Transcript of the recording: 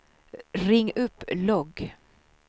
ring upp logg